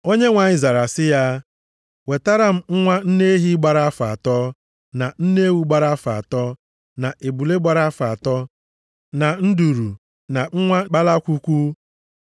Onyenwe anyị zara sị ya, “Wetara m nwa nne ehi gbara afọ atọ, na nne ewu gbara afọ atọ, na ebule gbara afọ atọ, na nduru, na nwa kpalakwukwu.”